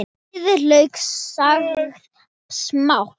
Afhýðið lauk og saxið smátt.